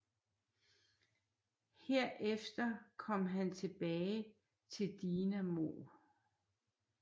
Herefter kom han tilbage til Dinamo